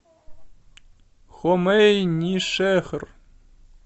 хомейнишехр